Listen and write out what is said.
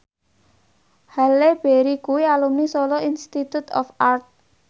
Halle Berry kuwi alumni Solo Institute of Art